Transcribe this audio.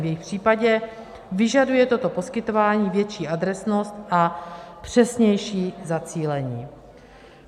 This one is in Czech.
V jejich případě vyžaduje toto poskytování větší adresnost a přesnější zacílení.